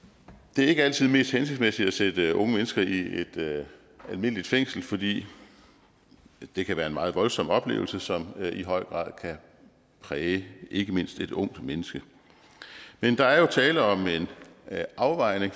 det er ikke altid mest hensigtsmæssigt at sætte unge mennesker i et almindeligt fængsel fordi det kan være en meget voldsom oplevelse som i høj grad kan præge ikke mindst et ungt menneske men der er jo tale om en afvejning